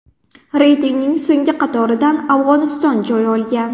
Reytingning so‘nggi qatoridan Afg‘oniston joy olgan.